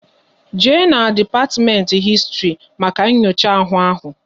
Jee na depatiment Histri maka nyocha ahụ!